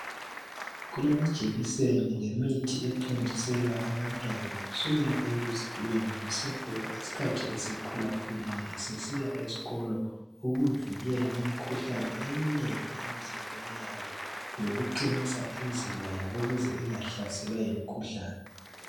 Kulamajekiseni lemithi ethontiselwa abantwana kusukela ekuzalweni kusiyafika isikhathi esekhulakhulile esesiya esikolo ukuvikela imikhuhlane eminengi emizimbeni yabo lokuqinisa imizimba yabo ukuze ingahlaselwa yimikhuhlane.